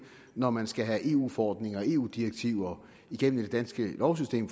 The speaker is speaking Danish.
når man skal have eu forordninger og eu direktiver igennem det danske lovsystem